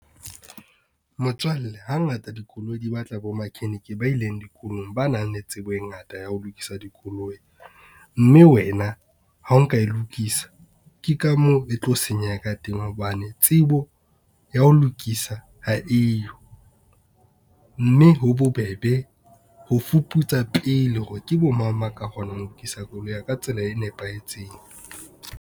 Motswalle ha ngata dikoloi di ba tla bo makheniki ba ileng dikolong, ba nang le tsebo e ngata ya ho lokisa dikoloi. Mme wena, ha o nka e lokisa, ke ka moo e tlo senyeha ka teng hobane tsebo ya ho lokisa ha eyo, mme ho bobebe ho fuputsa pele hore ke bo mang ba ka kgonang ho lokisa koloi ya ka tsela e nepahetseng.